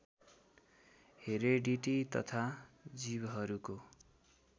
heredity तथा जीवहरूको